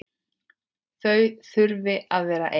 Þau þurfi að vera ein.